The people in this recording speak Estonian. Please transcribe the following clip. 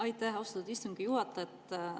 Aitäh, austatud istungi juhataja!